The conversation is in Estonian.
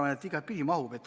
Ma arvan, et igatpidi mahub.